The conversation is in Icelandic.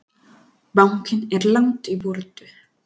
Bankinn er langt í burtu.